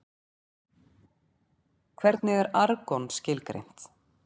Hvernig er argon skilgreint?